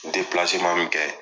min kɛ.